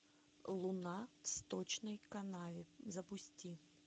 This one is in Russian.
луна в сточной канаве запусти